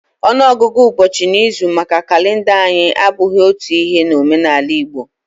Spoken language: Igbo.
ọnụọgụ ụbọchị n'izu maka kalenda anyi a abụghị otu Ihe n'omenala Igbo